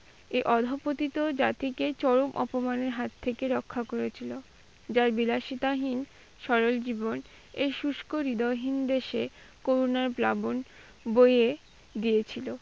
এই অধঃপতিত জাতিকে চরম অপমানের হাত থেকে রক্ষা করেছিল। যার বিলাসিতাহীন সরল জীবন এই শুষ্ক হৃদয়হীন দেশে করুনার প্লাবন বয়ে দিয়েছিল।